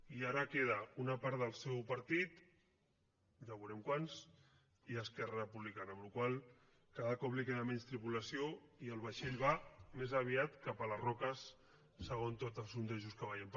i ara queden una part del seu partit ja veurem quants i esquerra republicana amb la qual cosa cada cop li queda menys tripulació i el vaixell va més aviat cap a les roques segons tots els sondejos que veiem